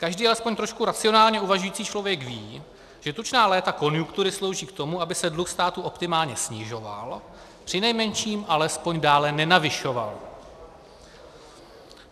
Každý alespoň trošku racionálně uvažující člověk ví, že tučná léta konjunktury slouží k tomu, aby se dluh státu optimálně snižoval, přinejmenším alespoň dále nenavyšoval.